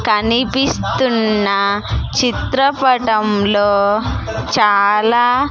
కనిపిస్తున్న చిత్రపటంలో చాలా--